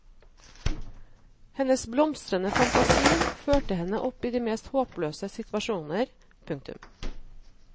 Hennes blomstrende fantasi førte henne opp i de mest håpløse situasjoner. punktum